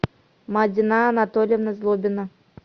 мадина анатольевна злобина